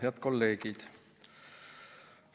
Head kolleegid!